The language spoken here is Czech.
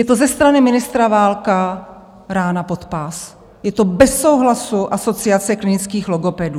Je to ze strany ministra Válka rána pod pás, je to bez souhlasu Asociace klinických logopedů.